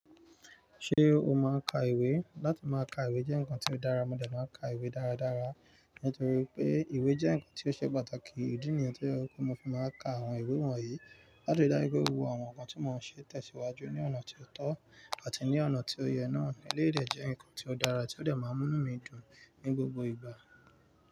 Ṣé o máa ń ka ìwé? Látí máa ka ìwé jẹ́ ǹkan tí ó dára, mo dẹ̀ maa n ka ìwé dáradára nítorí pé ìwé jẹ́ ǹkan tí ó ṣe pàtàkì ìdí nìyii tí ó jẹ́ pe kó mo fi máa ka àwọn ìwé wọ̀nyí láti ri daju pe gbogbo àwọn ǹkan tí mò ń ṣe tẹ̀síwájú ní ọ̀nà tí ó tọ́ àti ní ọ̀nà tí ó yẹ náà. Eleyii de jẹ́ ǹkan tí ó dára tí ó dẹ̀ máa ń mú mí dùn ní gbogbo ìgbà.